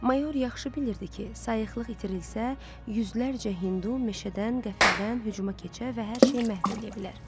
Mayor yaxşı bilirdi ki, sayıqlıq itirilsə, yüzlərcə Hindu meşədən qəfildən hücuma keçə və hər şeyi məhv eləyə bilər.